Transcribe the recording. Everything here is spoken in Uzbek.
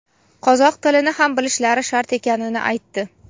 qozoq tilini ham bilishlari shart ekanini aytdi.